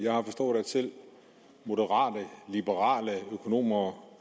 jeg har forstået at selv moderate liberale økonomer